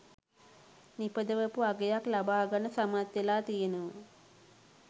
නිපදවපු අගයක් ලබාගන්න සමත් වෙලා තියෙනවා